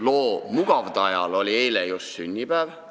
Loo mugavdajal oli eile just sünnipäev.